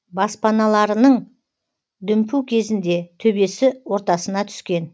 баспаналарының дүмпу кезінде төбесі ортасына түскен